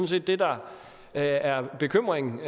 set det der er er bekymringen